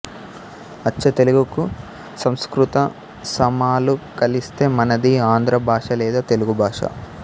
అచ్చతెలుగుకు సంస్కృత సమాలు కలిస్తే మనది ఆంధ్ర భాష లేదా తెలుగు భాష